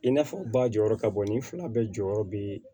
I n'a fɔ u ba jɔyɔrɔ ka bɔ ni fila bɛɛ jɔyɔrɔ be